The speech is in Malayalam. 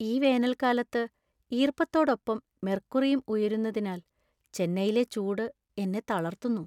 ഈ വേനൽക്കാലത്ത് ഈർപ്പത്തോടൊപ്പം മെർക്കുറിയും ഉയരുന്നതിനാൽ ചെന്നൈയിലെ ചൂട് എന്നെ തളർത്തുന്നു.